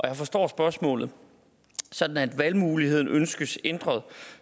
jeg forstår spørgsmålet sådan at valgmuligheden ønskes ændret